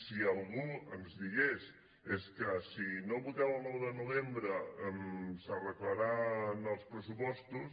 si algú ens digués és que si no voteu el nou de novembre s’arreglaran els pressupostos